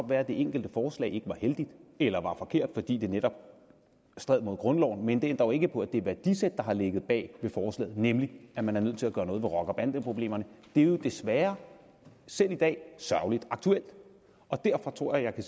være at det enkelte forslag ikke var heldigt eller var forkert fordi det netop strider mod grundloven men det ændrer jo ikke på at det værdisæt der har ligget bag forslaget nemlig at man er nødt til at gøre noget ved rocker bande problemerne desværre selv i dag er sørgelig aktuelt derfor tror jeg at